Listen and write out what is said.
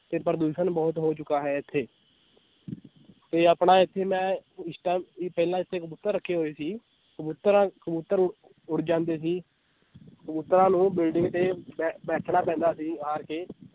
ਤੇ ਪ੍ਰਦੂਸ਼ਣ ਬਹੁਤ ਹੋ ਚੁੱਕਾ ਹੈ ਇੱਥੇ ਤੇ ਆਪਣਾ ਇੱਥੇ ਮੈਂ ਇਸ ਪਹਿਲਾਂ ਇੱਥੇ ਕਬੂਤਰ ਰੱਖੇ ਹੋਏ ਸੀ ਕਬੂਤਰਾਂ ਕਬੂਤਰ ਉੱਡ ਜਾਂਦੇ ਸੀ ਕਬੂਤਰਾਂ ਨੂੰ ਬਿਲਡਿੰਗ ਤੇ ਬੈ~ ਬੈਠਣਾ ਪੈਂਦਾ ਸੀ ਹਾਰ ਕੇ